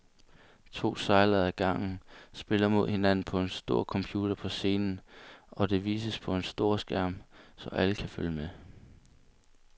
To sejlere ad gangen spiller mod hinanden på en computer på scenen, og det vises på en stor skærm, så alle kan følge med.